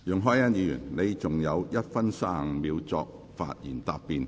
容海恩議員，你還有1分35秒作發言答辯。